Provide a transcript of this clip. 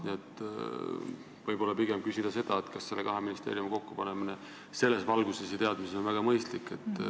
Nii et võib-olla on õige küsida, kas nende kahe ministeeriumi kokkupanemine selles valguses ja selles teadmises on mõistlik.